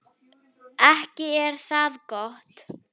Ekki er það gott!